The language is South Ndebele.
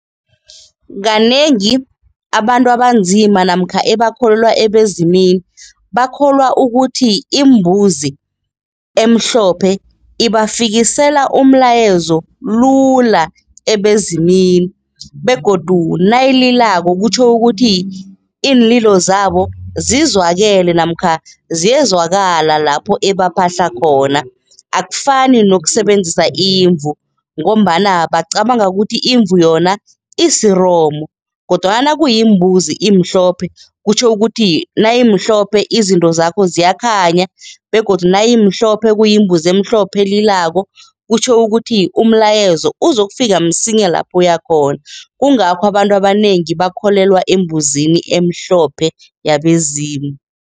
Kanengi abantu abanzima namkha ebakholelwa ebezimini bakholwa ukuthi imbuzi emhlophe ibafikisela umlayezo lula ebezimini begodu nayililako kutjho ukuthi iinlilo zabo zizwakele namkha ziyezwakala lapho ebaphahla khona. Akufani nokusebenzisa imvu ngombana bacabanga ukuthi imvu yona isiromo kodwana nakuyimbuzi imhlophe kutjho ukuthi nayimhlophe, izinto zakho ziyakhanya begodu nayimhlophe kuyimbuzi emhlophe elilako, kutjho ukuthi umlayezo uzokufika msinya lapho uyakhona. Kungakho abantu abanengi bakholelwa embuzini emhlophe yabezimu.